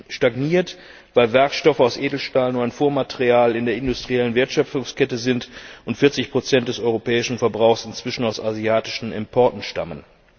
Sie stagniert, weil Werkstoffe aus Edelstahl nur ein Vormaterial in der industriellen Wertschöpfungskette sind und 40 des europäischen Verbrauchs inzwischen aus asiatischen Importen stammen.